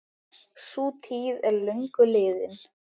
Sú tíð er löngu liðin.